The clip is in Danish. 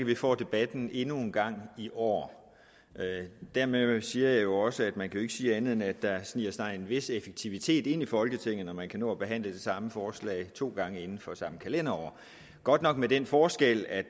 vi får debatten endnu en gang i år dermed siger jeg jo også at man ikke kan sige andet end at der sniger sig en vis effektivitet ind i folketinget når man kan nå at behandle det samme forslag to gange inden for samme kalenderår godt nok med den forskel at